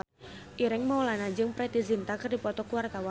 Ireng Maulana jeung Preity Zinta keur dipoto ku wartawan